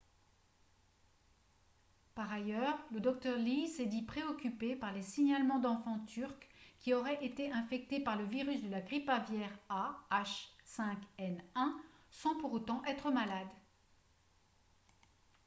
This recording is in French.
par ailleurs le docteur lee s'est dit préoccupé par les signalements d'enfants turcs qui auraient été infectés par le virus de la grippe aviaire ah5n1 sans pour autant être malades